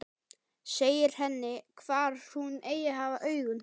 Segir henni hvar hún eigi að hafa augun.